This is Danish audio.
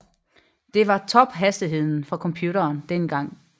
Det var tophastigheden for computere dengang